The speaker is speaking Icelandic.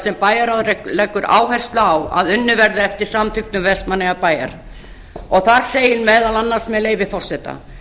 sem bæjarráðið leggur áherslu á að unnið verði eftir samþykktum vestmannaeyjabæjar þar segir meðal annars með leyfi forseta